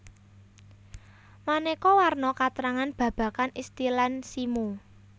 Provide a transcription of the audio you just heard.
Maneka warna katrangan babagan istilan simo